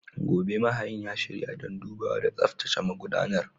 Gobe, mahayin ya shirya don dubawa da tsaftace magudanar.